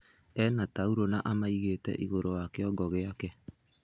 Ena tauro na amĩigĩte igurũ wa kiongo giake.